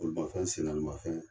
Bolimafɛn sennaanimafɛn.